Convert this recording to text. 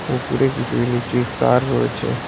ওপরে কিছু ইলেকট্রিক তার রয়েছে।